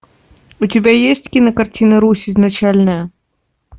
у тебя есть кинокартина русь изначальная